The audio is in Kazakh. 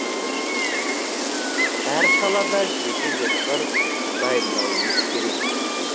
әр салада жеке жоспар дайындауымыз керек